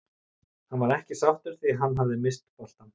Hann var ekki sáttur því hann hafði misst boltann.